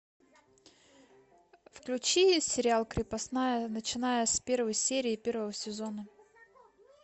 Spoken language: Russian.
включи сериал крепостная начиная с первой серии первого сезона